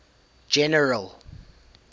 general